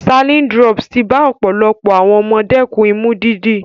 Saline drops ti bá ọ̀pọ̀lọpọ̀ àwọn ọmọ dẹ́kun Imú dídí.